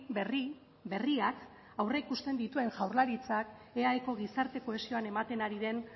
berri berriak aurreikusten dituen jaurlaritzak eaeko gizarte kohesioan ematen ari den